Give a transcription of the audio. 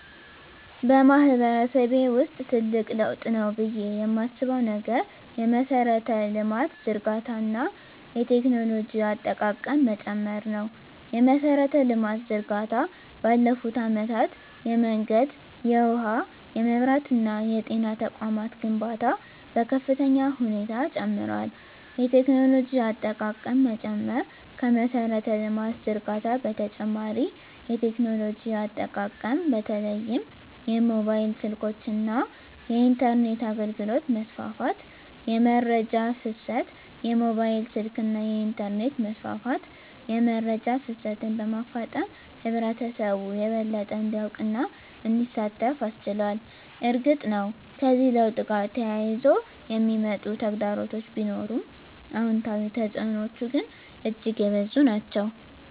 በማህበረሰቤ ውስጥ ትልቅ ለውጥ ነው ብዬ የማስበው ነገር የመሠረተ ልማት ዝርጋታ እና የቴክኖሎጂ አጠቃቀም መጨመር ነው። የመሠረተ ልማት ዝርጋታ ባለፉት አመታት የመንገድ፣ የውሃ፣ የመብራት እና የጤና ተቋማት ግንባታ በከፍተኛ ሁኔታ ጨምሯል። የቴክኖሎጂ አጠቃቀም መጨመር ከመሠረተ ልማት ዝርጋታ በተጨማሪ የቴክኖሎጂ አጠቃቀም በተለይም የሞባይል ስልኮች እና የኢንተርኔት አገልግሎት መስፋፋት። * የመረጃ ፍሰት: የሞባይል ስልክና የኢንተርኔት መስፋፋት የመረጃ ፍሰትን በማፋጠን ህብረተሰቡ የበለጠ እንዲያውቅና እንዲሳተፍ አስችሏል። እርግጥ ነው፣ ከዚህ ለውጥ ጋር ተያይዘው የሚመጡ ተግዳሮቶች ቢኖሩም፣ አዎንታዊ ተፅዕኖዎቹ ግን እጅግ የበዙ ናቸው።